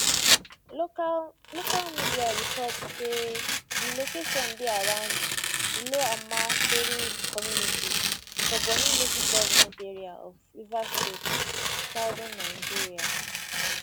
local local media report saydi location dey around iloamatoru community for bonny local goment area of rivers state southern nigeria